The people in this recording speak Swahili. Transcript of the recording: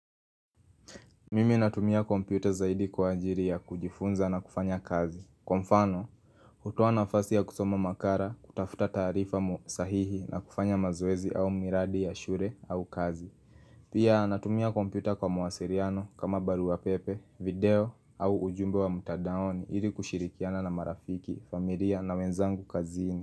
Mimi natumia kompyuta zaidi kwa ajili ya kujifunza na kufanya kazi. Kwa mfano, hutoa nafasi ya kusoma makala, kutafuta taarifa sahihi na kufanya mazoezi au miradi ya shule au kazi. Pia natumia kompyuta kwa mawasiliano kama barua pepe, video au ujumbe wa mtandaoni ili kushirikiana na marafiki, familia na wenzangu kazini.